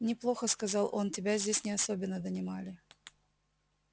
неплохо сказал он тебя здесь не особенно донимали